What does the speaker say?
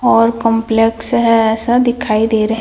और कॉम्प्लेक्स है ऐसा दिखाई दे रहे--